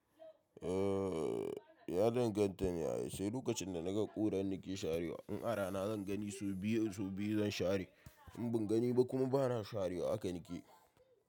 Ah, ya danganta ne ai. Sai lokacin da na ga ƙura nake sharewa. In ara na zan gani sau biyu, sau biyu zan share. In ban gani ba kuma ba na sharewa aka nike.